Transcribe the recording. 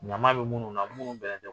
Ɲama bɛ minnu na minnu bɛ